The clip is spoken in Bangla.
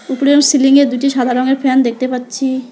উপরেও সিলিং য়ে দুটি সাদা রঙের ফ্যান দেখতে পাচ্ছি।